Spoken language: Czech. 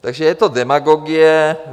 Takže je to demagogie.